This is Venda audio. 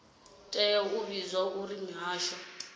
tea u vhudzwa uri mihasho